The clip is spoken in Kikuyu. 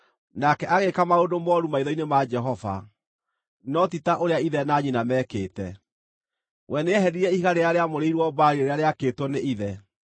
Nake agĩĩka maũndũ mooru maitho-inĩ ma Jehova, no ti ta ũrĩa ithe na nyina meekĩte. We nĩeheririe ihiga rĩrĩa rĩamũrĩirwo Baali rĩrĩa rĩakĩtwo nĩ ithe.